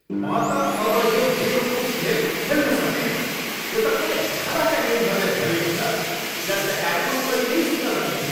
म त अब यो बेवकुफ खेल खेल्न सक्दिनँ। यो त पुरैै हावाका नियमहरूले भरिएको छ जसका कारण म कहिल्यै जित्न सक्दिनँ।